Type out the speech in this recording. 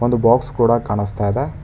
ಒಂದು ಬಾಕ್ಸ್ ಕೂಡ ಕಾಣಸ್ತಾ ಇದೆ.